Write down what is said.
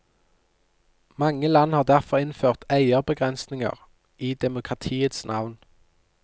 Mange land har derfor innført eierbegrensninger, i demokratiets navn.